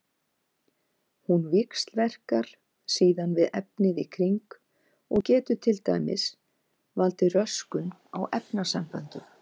Hún víxlverkar síðan við efnið í kring og getur til dæmis valdið röskun á efnasamböndum.